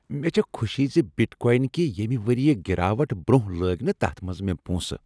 مےٚ چھےٚ خوشی زِ بِٹ کواین کہ ییٚمہ ؤریہ گراوٹ برۄنہہ لٲگۍ نہ تتھ منز مےٚ پونسہٕ۔